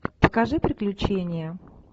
покажи приключения